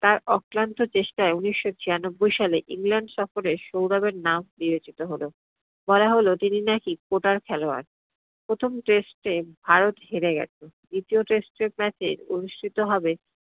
তার অক্লান্ত চেষ্টাই উনিশশো ছিয়ানব্বই সালে england শহরে সৌরভের নাম নিয়জিত হল। বলা হল তিনি নাকি কোটার খেলোয়াড়। প্রথম test এ ভারত হেরে গেলো, দ্বিতিয় terst এর match এ অনুষ্ঠিত হবে